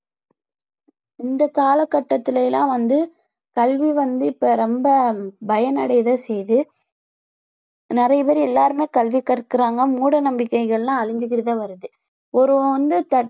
இந்த கால கட்டத்தில எல்லாம் வந்து கல்வி வந்து இப்போ ரொம்ப பயனடைய தான் செய்யுது நிறைய பேர் எல்லாருமே கல்வி கற்கறாங்க மூட நம்பிக்கைகள் எல்லாம் அழிஞ்சுகிட்டு தான் வருது ஒருவன் வந்து தட்~